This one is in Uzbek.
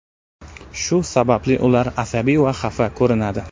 Shu sababli ular asabiy va xafa ko‘rinadi.